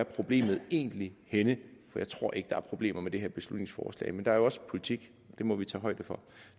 problemet egentlig er henne jeg tror ikke at der er problemer med det her beslutningsforslag men der er jo også politik det må vi tage højde for